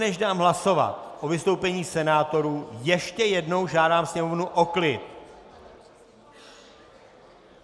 Než dám hlasovat o vystoupení senátorů, ještě jednou žádám sněmovnu o klid!